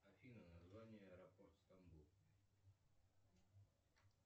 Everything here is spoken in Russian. афина название аэропорт стамбул